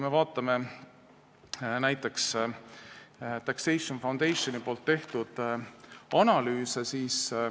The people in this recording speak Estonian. Vaatame näiteks Tax Foundationi analüüse.